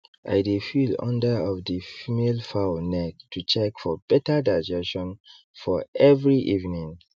i dey feel under of the female fowl neck to check for better digestion for every evening